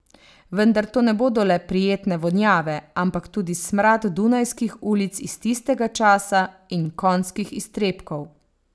Vendar to ne bodo le prijetne vonjave, ampak tudi smrad dunajskih ulic iz tistega časa in konjskih iztrebkov ...